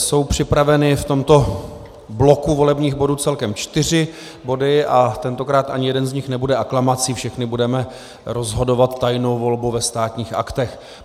Jsou připraveny v tomto bloku volebních bodů celkem čtyři body a tentokrát ani jeden z nich nebude aklamací, všechny budeme rozhodovat tajnou volbou ve Státních aktech.